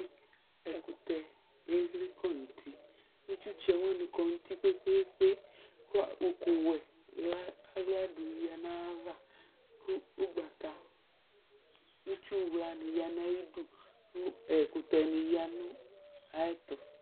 Ɛkʋtɛ exle kɔnʋ ʋti itsʋtsɛ wani kɔnʋ ʋti kpe kpe kpe kʋ ʋkʋwɛ aɣldʋ yanʋ ayʋ ava kʋ ʋgbata itsʋwla ni yanʋ ayʋ ayidʋ kʋ ɛkʋtɛni yanʋ ayʋ ɛtʋ